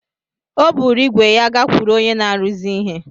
O buru ígwè ya gakwuru onye na-arụzi ihe.